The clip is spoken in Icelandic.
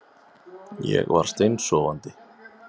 Ég var steinsofandi